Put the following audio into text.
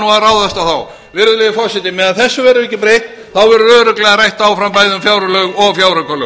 á þá virðulegi forseti meðan þessu verður ekki breytt verður örugglega rætt áfram bæði um fjárlög og fjáraukalög